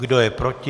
Kdo je proti?